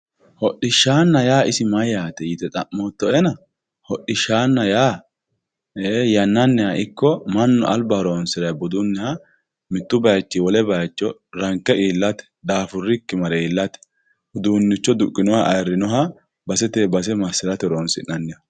hodhishshanna yaa isi mayyate yite xa'moottoena hodhishshaanna yaa yannanniha ikko mannu alba horoonsirinoha budunniha mittu baychinni wole baycho ranke iillate daafurikki mare iillate uduunnicho duqqinoyha basete base massirate horoonsi'nanniho